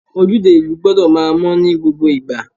Ojúde ìlú gbọ́dọ̀ máa mọ́ ní gbogbo ìgbà.